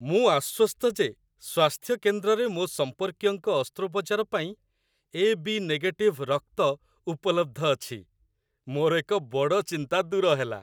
ମୁଁ ଆଶ୍ୱସ୍ତ ଯେ ସ୍ୱାସ୍ଥ୍ୟ କେନ୍ଦ୍ରରେ ମୋ ସମ୍ପର୍କୀୟଙ୍କ ଅସ୍ତ୍ରୋପଚାର ପାଇଁ ଏ.ବି. ନେଗେଟିଭ୍ ରକ୍ତ ଉପଲବ୍ଧ ଅଛି। ମୋର ଏକ ବଡ଼ ଚିନ୍ତା ଦୂର ହେଲା।